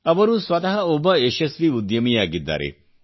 ಅವರು ಸ್ವತಃ ಒಬ್ಬ ಯಶಸ್ವಿ ಉದ್ಯಮಿಯಾಗಿದ್ದಾರೆ